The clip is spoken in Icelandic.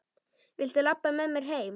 Viltu labba með mér heim!